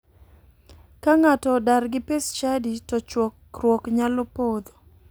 Ka ng'ato odar gi pes chadi to chokruok nyalo podho.